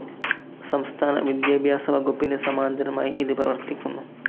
സംസ്ഥാന വിദ്യാഭ്യാസ വകുപ്പിനു സമാന്തരമായി ഇതു പ്രവർത്തിക്കുന്നു.